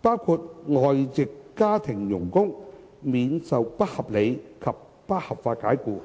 包括外籍家庭傭工，免受不合理及不合法解僱。